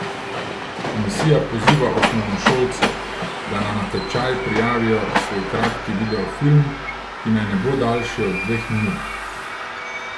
Komisija poziva osnovnošolce, da na natečaj prijavijo svoj kratki video film, ki naj ne bo daljši od dveh minut.